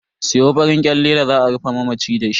Siyo farin kyalle da za a rufe mamaci dashi.